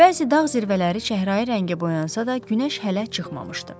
Bəzi dağ zirvələri çəhrayı rəngə boyansa da, Günəş hələ çıxmamışdı.